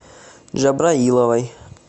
джабраиловой